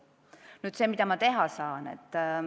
Mida ma nüüd teha saan?